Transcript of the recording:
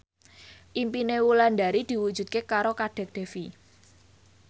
impine Wulandari diwujudke karo Kadek Devi